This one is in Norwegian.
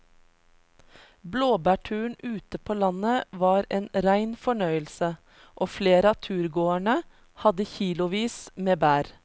Blåbærturen ute på landet var en rein fornøyelse og flere av turgåerene hadde kilosvis med bær.